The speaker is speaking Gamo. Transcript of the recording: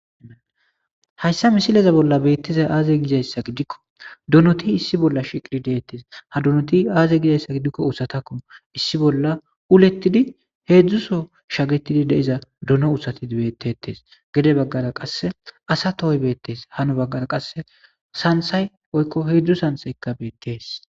Hayssa misileza bolla beetizay aaze gizayssa gidiko donoti issi bolla shiiqi deetes ha donoti aaze gizayssa gidiko issi uthatako issi bolla uletidi hedzu soo shagetidi de'iza dono uthati beetetes gede baggara qase asa tohoy beetes hanu baggara qase santhay woyko hedzu santhayka beetes.